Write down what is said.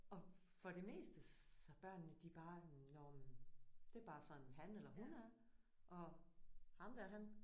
Og for det meste så børnene de bare nåh men det er bare sådan han eller hun er. Og ham der han